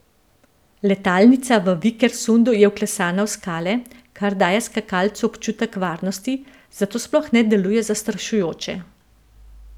Letalnica v Vikersundu je vklesana v skale, kar daje skakalcu občutek varnosti, zato sploh ne deluje zastrašujoče.